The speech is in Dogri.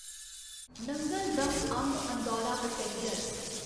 नंगल दम अंब अंदौरा पैसेंजर